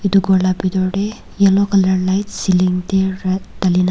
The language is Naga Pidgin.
etu ghor la pitor te yellow colour lights ceiling te ra dali ne.